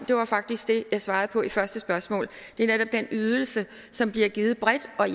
jo faktisk det jeg svarede på i første spørgsmål det er netop den ydelse som bliver givet bredt og